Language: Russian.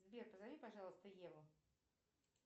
сбер позови пожалуйста еву